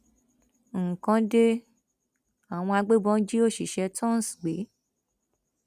nǹkan de àwọn agbébọn jí òṣìṣẹ tonce gbé